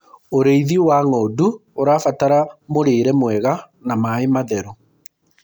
ũrĩithi wa ng'ondu ũrabatara mũrĩre mwega na maĩ matheru